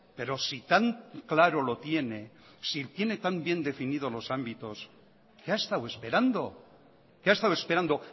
pero si tan claro lo tiene si tiene tan bien definido los ámbitos qué ha estado esperando qué ha estado esperando